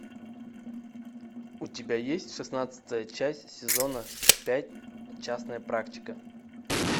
у тебя есть шестнадцатая часть сезона пять частная практика